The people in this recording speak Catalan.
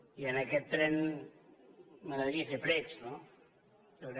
i en aquest tren m’agradaria fer precs no jo crec